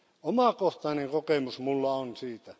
Omakohtainen kokemus minulla on siitä.